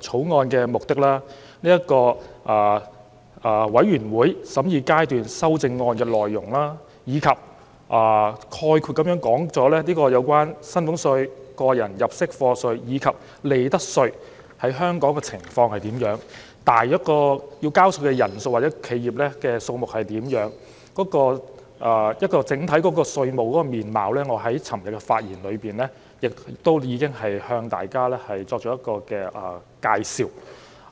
草案》的目的、全體委員會審議階段修正案的內容，以及概括講述了薪俸稅、個人入息課稅及利得稅在香港的情況、需要繳稅的人數和企業數量大約為何；而就着稅務的整體面貌，我在昨天的發言中亦已向大家作出了介紹。